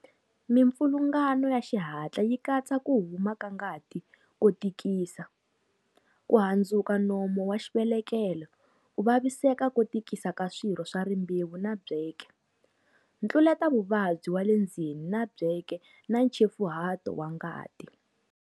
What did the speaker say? Mipfilungano ya xihatla yi katsa ku huma ka ngati ko tikisa, ku handzuka nomu wa xivelekelo, ku vaviseka ko tikisa ka swirho swa rimbewu na byeke, ntluletavuvabyi wa le ndzeni wa byeke na nchefuhato wa ngati.